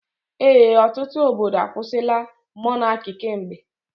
Ee, ọtụtụ obodo akwusila Mọnaki kemgbe.